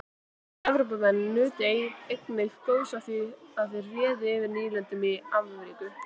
evrópumenn nutu einnig góðs af því að þeir réðu yfir nýlendum í ameríku